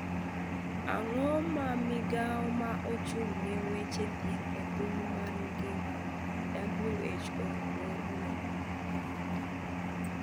Ang'o ma migao ma ochung ne wach thieth e piny ma ngima (WHO) ng'ur ni.